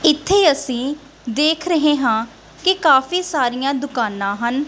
ਇੱਥੇ ਅਸੀ ਦੇਖ ਰਹੇ ਹਾਂ ਕਿ ਕਾਫੀ ਸਾਰੀਆਂ ਦੁਕਾਨਾਂ ਹਨ।